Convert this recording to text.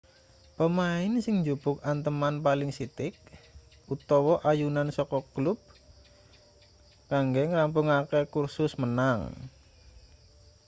pemain sing njupuk anteman paling sithik utawa ayunan saka klub kanggo ngrampungake kursus menang